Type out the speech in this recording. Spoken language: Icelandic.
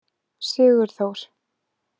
Sigurþór